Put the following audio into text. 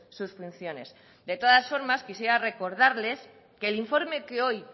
sus funciones de todas formas quisiera recordarles que el informe que hoy